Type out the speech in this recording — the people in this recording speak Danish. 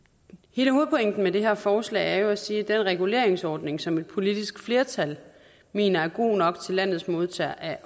hele hovedpointen med det her forslag er jo at sige at den reguleringsordning som et politisk flertal mener er god nok til landets modtagere af